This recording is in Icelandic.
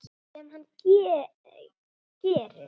Sem hann gerir.